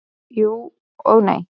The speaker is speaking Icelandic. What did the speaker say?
Jú, og nei.